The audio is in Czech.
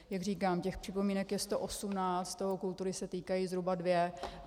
Jak říkám, těch připomínek je 118, z toho kultury se týkají zhruba dvě.